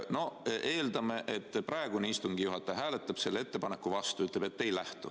No eeldame, et praegune istungi juhataja hääletab selle ettepaneku vastu ja ütleb, et ei lähtu.